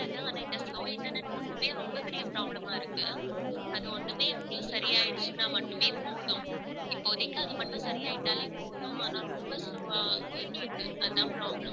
ஆனா இந்த slow internet ஒண்ணுமே ரொம்ப பெரிய problem ஆ இருக்கு. அது ஒண்ணுமே எப்படியும் சரி ஆயிடுச்சுன்னா மட்டுமே போதும். இப்போதைக்கு அது மட்டும் சரியாயிட்டாலே போதும் ஆனா ரொம்ப slow ஆ இருக்கு. அதான் problem